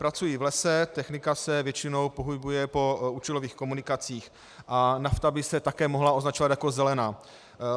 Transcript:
Pracují v lese, technika se většinou pohybuje po účelových komunikacích a nafta by se také mohla označovat jako zelená.